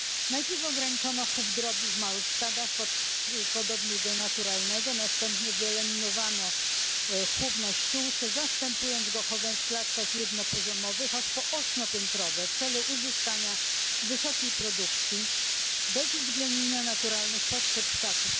Najpierw ograniczono chów drobiu w małych stadach podobnych do naturalnego, następnie wyeliminowano chów na ściółce, zastępując go chowem w klatkach jednopoziomowych aż po ośmiopiętrowe w celu uzyskania wysokiej produkcji bez uwzględnienia naturalnych potrzeb ptaków.